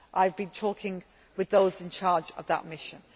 I have been talking with those in charge of that mission.